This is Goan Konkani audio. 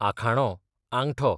आखाणो, आंगठो